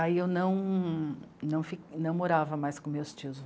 Aí eu não não fi..., não morava mais com os meus tios.